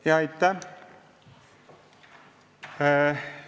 Ja aitäh!